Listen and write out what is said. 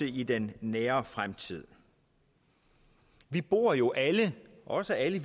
i den nære fremtid vi bor jo alle også alle